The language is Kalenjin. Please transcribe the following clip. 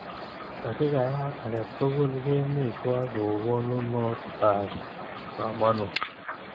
Takikayat ake tukul kemi twai kou konunot ap komonut.